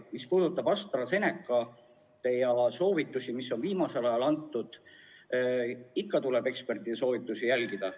Mis puudutab AstraZeneca easoovitusi, mis on viimasel ajal antud, siis ikka tuleb ekspertide soovitusi järgida.